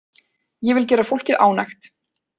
Ég vil gera fólkið ánægt.